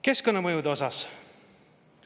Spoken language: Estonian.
Keskkonnamõjude osas.